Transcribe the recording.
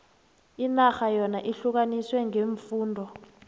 inarha yona ihlukaniswe ngeemfunda